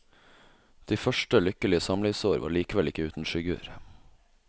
De første lykkelige samlivsår var likevel ikke uten skygger.